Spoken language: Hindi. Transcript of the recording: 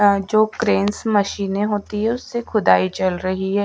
अह जो क्रेंस मशीनें होती है उससे खुदाई चल रही है।